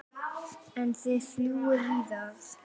En þið fljúgið víðar?